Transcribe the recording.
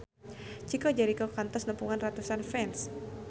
Chico Jericho kantos nepungan ratusan fans